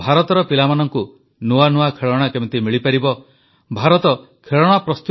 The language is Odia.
ଭାରତର ପିଲାମାନଙ୍କୁ ନୂଆ ନୂଆ ଖେଳଣା କେମିତି ମିଳିପାରିବ ସେକଥା ଉପରେ ଆମେ ଆଲୋଚନା କଲୁ